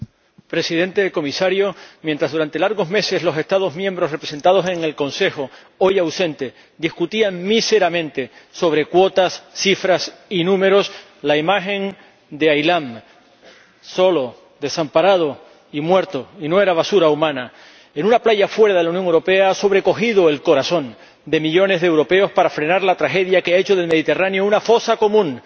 Señor Presidente, Comisario, mientras durante largos meses los Estados miembros representados en el Consejo ―hoy ausente― discutían míseramente sobre cuotas, cifras y números, la imagen de Aylan solo, desamparado y muerto ―y no era basura humana― en una playa fuera de la Unión Europea ha sobrecogido el corazón de millones de europeos para frenar la tragedia que ha hecho del Mediterráneo una fosa común